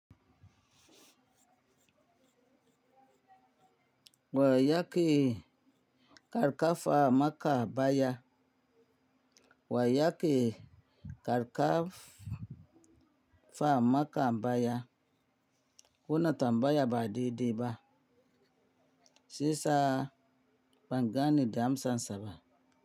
Wa ya ke karka fa maka baya? Wa ya ke karka fa maka baya? Kuna tambaya ba de de ba. Shiyasa bangane da amsa saba.